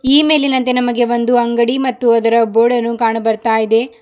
ಈ ಮೇಲಿನಂತೆ ನಮಗೆ ಒಂದು ಅಂಗಡಿ ಮತ್ತು ಅದರ ಬೋರ್ಡ್ ಅನ್ನು ಕಾಣು ಬರ್ತಾ ಇದೆ.